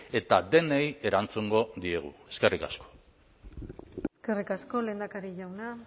eta denei erantzungo diegu eskerrik asko eskerrik asko urkullu jauna